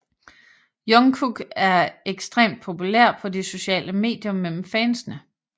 Jungkook er ekstremt populær på de sociale medier mellem fansene